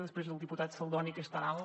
després del diputat saldoni que és tan alt